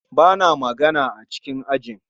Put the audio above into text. Ba na magana a cikin ajin